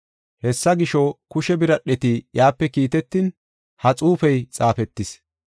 Hessa gisho, kushe biradheti iyape kiitetin, ha xuufey xaafetis.